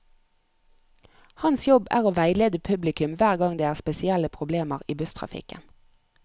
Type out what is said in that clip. Hans jobb er å veilede publikum hver gang det er spesielle problemer i busstrafikken.